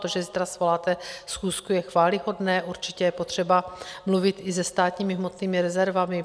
To, že zítra svoláte schůzku, je chvályhodné, určitě je potřeba mluvit i se státními hmotnými rezervami.